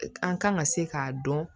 An kan ka se k'a dɔn